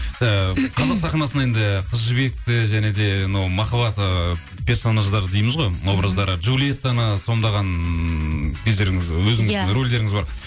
ііі қазақ сахнасында енді қыз жібекті және де мынау махаббат ыыы персонаждары дейміз ғой образдары джулиеттаны сомдаған кездеріңіз өзіңіздің рольдеріңіз бар